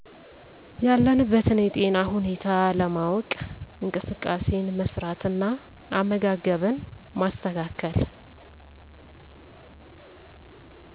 ያለንበትን የጤና ሁኔታ ለማወ፤ ቅ እንቅስቃሴን መስራት እና አመጋገብን ማስተካከል